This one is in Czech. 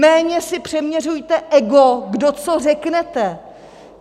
Méně si přeměřujte ego, kdo co řeknete!